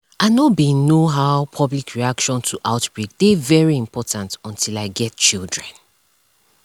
i know bin know how public reaction to outbreak dey very important until i get children